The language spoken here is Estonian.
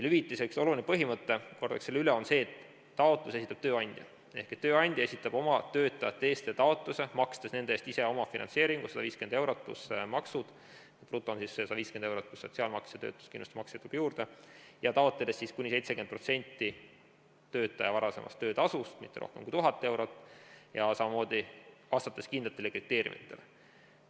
Hüvitise üks olulisi põhimõtteid, kordaks selle üle, on see, et taotluse esitab tööandja ehk tööandja esitab oma töötajate eest taotluse, makstes nende eest ise omafinantseeringu, 150 eurot pluss maksud, bruto on 150 eurot pluss sotsiaalmaks ja töötuskindlustusmakse tuleb juurde, taotledes siis kuni 70% töötaja varasemast töötasust, aga mitte rohkem kui 1000 eurot, ja samamoodi tuleb vastata kindlatele kriteeriumidele.